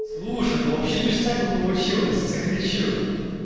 слушай да вообще ништяк бы получилось те кричу